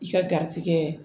I ka garisigɛ